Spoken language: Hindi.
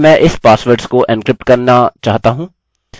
अब मैं इस पासवर्ड्स को एन्क्रिप्ट करना चाहता हूँ